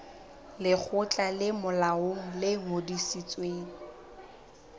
lekgotla le molaong le ngodisitsweng